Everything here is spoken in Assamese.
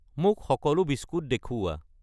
মোক সকলো বিস্কুট দেখুওৱা।